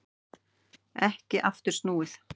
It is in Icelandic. Ekki aftur snúið